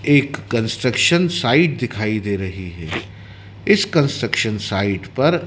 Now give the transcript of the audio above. एक construction site दिखाई दे रही है इस कंस्ट्रक्शन साइट पर--